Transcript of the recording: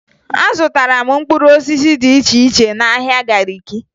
Azụtara m mkpụrụ osisi dị iche iche n'ahịa Gariki